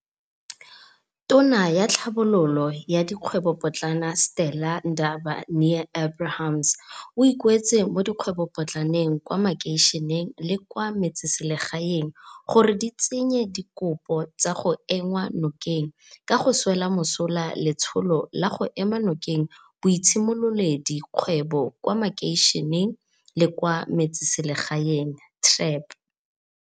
Tona ya Tlhabololo ya Dikgwebopotlana, Stella Ndabe ni-Abrahams, o ikuetse mo dikgwebopotlaneng kwa makeišeneng le kwa me tseselegaeng gore di tse nye dikopo tsa go enngwa nokeng ka go swela mosola Letsholo la go Ema Nokeng Boitshimololedi kgwebo kwa Makeišeneng le kwa Metseselegaeng TREP.